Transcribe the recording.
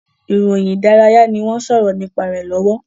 Ìròyìn ìdárayá ni wọ́n ń sọ̀rọ̀ nípa rẹ̀ lọ́wọ́